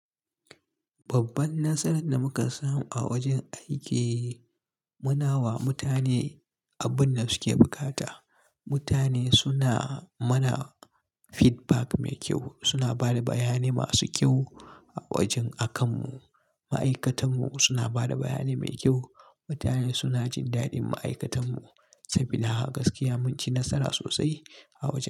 Babban nasaran da muka samu a wajen aiki muna wa mutane abun da suke bukata. Mutane suna mana feedback mai kyau, suna ba da bayanai masu kyau a wajen akan mu. Ma'aikatanmu suna ba da bayanai mai kyau. Mutane suna jin daɗin ma'aikatanmu sabida haka gaskiya mun ci nasara sosai a wajen.